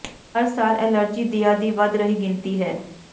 ਹਰ ਸਾਲ ਐਲਰਜੀ ਦਿਆ ਦੀ ਵੱਧ ਰਹੀ ਗਿਣਤੀ ਹੈ